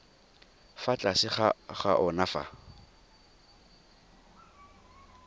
fa tlase ga ona fa